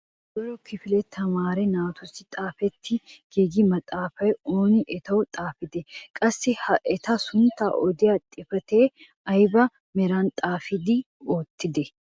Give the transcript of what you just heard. Koyro kifiliyaa tamaare naatussi xaafetti giigida maxaafaa onee etawu xaafiday? qassi ha eta sunttaa odiyaa xifateekka ayba meran xaafettide odite?